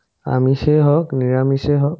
আমিছে হক নিৰামিছে হক